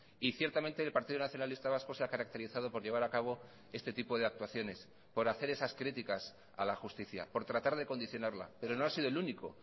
y ciertamente el partido nacionalista vasco se ha caracterizado por llevar a cabo este tipo de actuaciones por hacer esas críticas a la justicia por tratar de condicionarla pero no ha sido el único